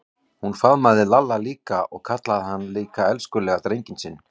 Hún faðmaði Lalla líka og kallaði hann líka elskulega drenginn sinn.